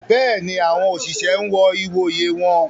Béèni, awọn oṣiṣẹ n wọ ìwòyè wọn